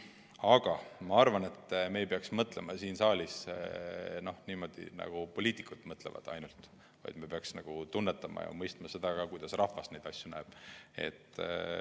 Aga ma arvan, et me ei peaks mõtlema siin saalis ainult nii, nagu poliitikud mõtlevad, vaid me peaksime tunnetama ja mõistma ka seda, kuidas rahvas neid asju näeb.